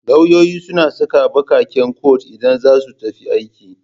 Lauyoyi suna saka baƙaƙen kwat idan za su tafi aiki